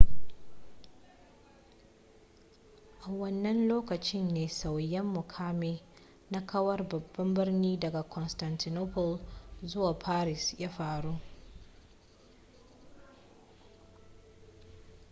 a wannan lokacin ne sauya mukamin na kawar babban birni daga constantinople zuwa paris ya faru